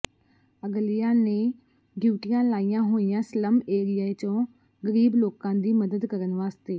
ਅਗਲਿਆ ਨੇ ਡਿਊਟੀਆਂ ਲਾਈਆਂ ਹੋਈਆਂ ਸਲੱਮ ਏਰੀਏ ਚੋ ਗਰੀਬ ਲੋਕਾਂ ਦੀ ਮਦਦ ਕਰਨ ਵਾਸਤੇ